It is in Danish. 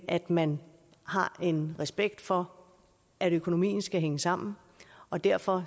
at man har en respekt for at økonomien skal hænge sammen og derfor